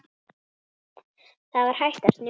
Það var hætt að snjóa.